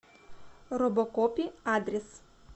робокопи адрес